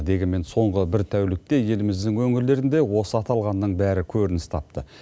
дегенмен соңғы бір тәулікте еліміздің өңірлерінде осы аталғанның бәрі көрініс тапты